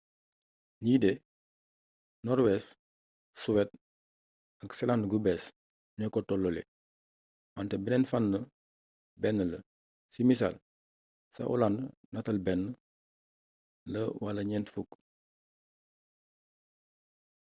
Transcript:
li de noorwees suweed ak seland-gu-bees ño ko tololle wante benneen fan benn la si missal ca olaand natal benn la ba ñent fukk